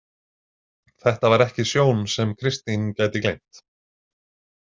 Þetta var ekki sjón sem Kristín gæti gleymt.